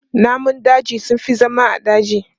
Namun daji sun fi zama a daji.